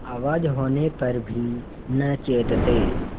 आवाज होने पर भी न चेतते